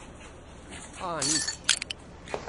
A nič.